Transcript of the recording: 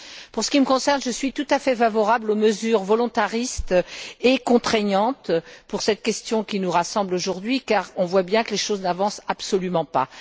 En ce qui me concerne, je suis tout à fait favorable aux mesures volontaristes et contraignantes pour cette question qui nous rassemble aujourd'hui, car on voit bien que les choses n'avancent absolument pas.